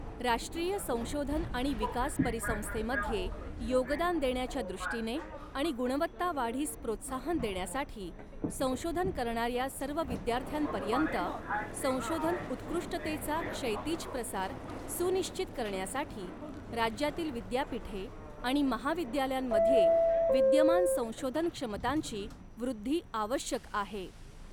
राष्ट्रीय संशोधन आणि विकास परिसंस्थेमध्ये योगदान देण्याच्या दृष्टीने आणि गुणवत्ता वाढीस प्रोत्साहन देण्यासाठी संशोधन करणाऱ्या सर्व विद्यार्थ्यांपर्यंत संशोधन उत्कृष्टतेचा क्षैतिज प्रसार सुनिश्चित करण्यासाठी राज्यातील विद्यापीठे आणि महाविद्यालयांमध्ये विद्यमान संशोधन क्षमतांची वृद्धी आवश्यक आहे.